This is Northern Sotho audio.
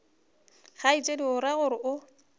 kgaetšedi o ra gore o